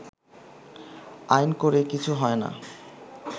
“আইন করে কিছু হয়না